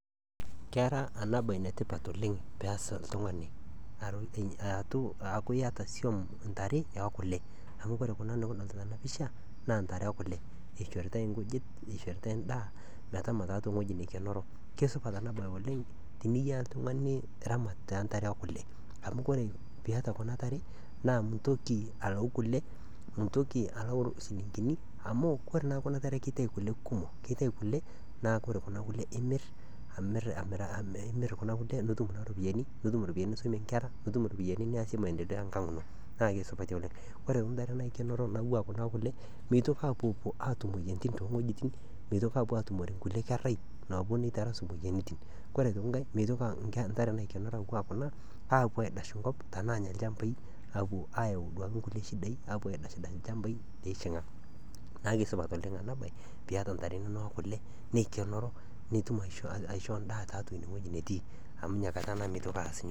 Kera ena baye enetipat oleng' pee easi oltung'ani aaku iata siom oo ntare oo kule, neaku ore kuna nekidolita tena pisha naa intare e kule, eishoritai inkujit, eishoritai endaa metama tiatua ewueji naikenero. Keisidai ene baye oleng' teniyou oltung'ani eramatare e kule. Amu teniata kuna tare, naa mintoki alo kule, mintoki aing'oru inchiling'ini amu kore naa kuna tare naa keitayu kule kumok, oleng' naa ore kuna kule naa imir naa kuna kule nitum iropiani nisumie inkera, nitum iropiani niasie maindeleo enkang' ino, naake supati oleng'. Itodua kunda tare naikenero tende , meitoki apuopuo too iwuejitin, meitoki atumore inkulie kerai naapuo neitarasu imoyiaritin, kore aitoki ng'ai, meitoki intare naikenero anaa kuna apuo aidash enkap tanaa ilchambai aapuo ayou naake duo inkulie shidai apuo aidashdash ilchambai leiking'a. Naake aisupat oleng' ena baye pee intare inono e kule neikenorro, nitum aisho endaa tiatua ine netii amu ina kata meitoki aas ina.